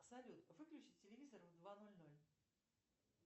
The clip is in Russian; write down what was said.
салют выключи телевизор в два ноль ноль